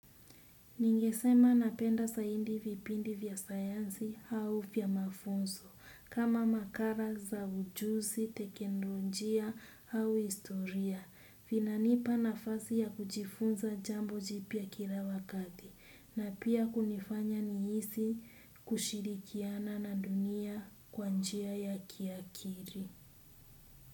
Ningesema napenda zaidi vipindi vya sayansi au vya mafunzo, kama makala za ujuzi, teknolojia au historia, vinanipa nafasi ya kujifunza jambo jipya kila wakati, na pia kunifanya nihisi kushirikiana na dunia kwa njia ya kiakili.